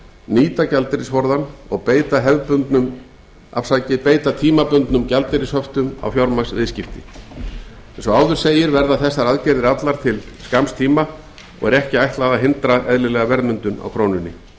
nýta gjaldeyrisforðann og beita tímabundnum gjaldeyrishöftum á fjármagnsviðskipti eins og áður segir verða þessar aðgerðir allar til skamms tíma og er ekki ætlað að hindra eðlilega verðmyndun á krónunni aukinn